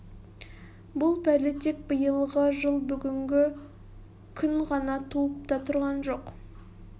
бұл пәле тек биылғы жыл бүгінгі күн ғана туып та тұрған жоқ